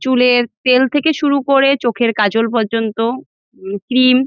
চুলের তেল থেকে শুরু করে চোখের কাজল পর্যন্ত উম ক্রিম ।